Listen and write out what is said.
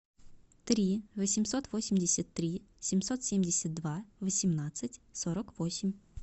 три восемьсот восемьдесят три семьсот семьдесят два восемнадцать сорок восемь